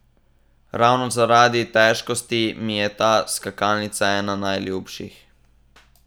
Ravno zaradi težkosti mi je ta skakalnica ena najljubših.